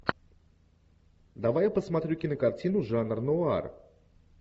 давай я посмотрю кинокартину жанр нуар